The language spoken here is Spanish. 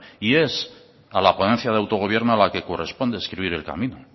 y es a la ponencia de autogobierno a la que corresponde escribir el camino